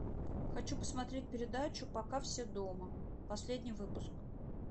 хочу посмотреть передачу пока все дома последний выпуск